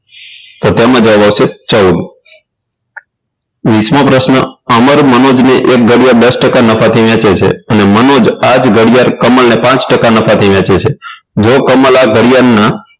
તો તેમાં જવાબ આવશે ચૌદ વીસ મો પ્રશ્ન અમર મનોજ ને એક ઘડિયાળ દસ ટકા નફાથી વેચે છે અને મનોજ આજ ઘડિયાળને કમલને પાંચ ટકા નફાથી વેચે છે જો કમલ આ ઘડિયાળના